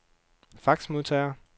faxmodtager